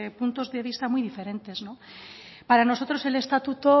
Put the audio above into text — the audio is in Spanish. puntos de vista muy diferentes para nosotros el estatuto